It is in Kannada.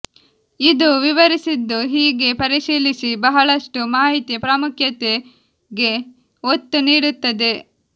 ಇದು ವಿವರಿಸಿದ್ದು ಹೀಗೆ ಪರಿಶೀಲಿಸಿ ಬಹಳಷ್ಟು ಮಾಹಿತಿ ಪ್ರಾಮುಖ್ಯತೆಗೆ ಒತ್ತು ನೀಡುತ್ತದೆ